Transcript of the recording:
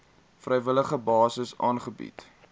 vrywillige basis aangebied